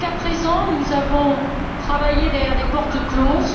Jusqu'à présent, nous avons travaillé derrière des portes closes.